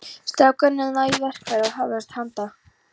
Strákarnir náðu í verkfæri og hófust handa.